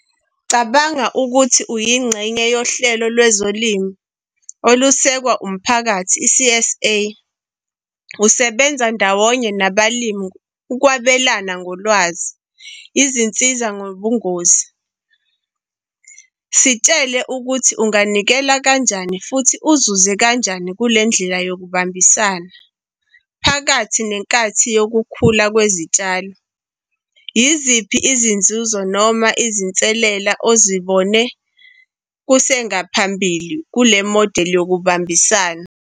Cabanga ukuthi uyingxenye yohlelo lwezolimo, olusekwa umphakathi, i-C_S_A, usebenza ndawonye nabalimi ukwabelana ngolwazi, izinsiza ngobungozi. Sitshele ukuthi unganikela kanjani futhi uzuze kanjani kule ndlela yokubambisana, phakathi nenkathi yokukhula kwezitshalo. Yiziphi izinzuzo noma izinselela ozibone kusengaphambili kule-model yokubambisana?